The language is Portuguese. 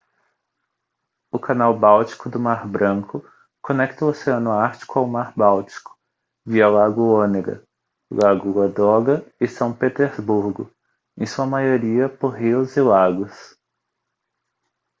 o canal báltico do mar branco conecta o oceano ártico ao mar báltico via lago onega lago ladoga e são petersburgo em sua maioria por rios e lagos